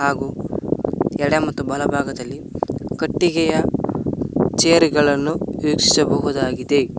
ಹಾಗು ಎಡ ಮತ್ತು ಬಲ ಭಾಗದಲ್ಲಿ ಕಟ್ಟಿಗೆಯ ಚೇರ್ ಗಳನ್ನು ವೀಕ್ಷಿಸಬಹುದಾಗಿದೆ.